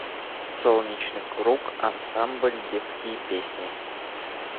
солнечный круг ансамбль детские песни